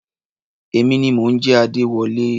Èmi ni mò ń jẹ́ Adéwọlé.